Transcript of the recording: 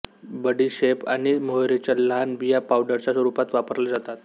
बडीशेप आणि मोहरीच्या लहान बिया पावडरच्या रूपात वापरल्या जातात